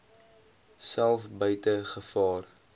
self buite gevaar